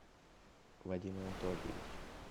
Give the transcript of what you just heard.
вадим анатольевич